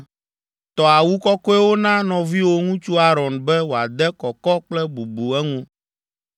Tɔ awu kɔkɔewo na nɔviwò ŋutsu Aron be woade kɔkɔ kple bubu eŋu.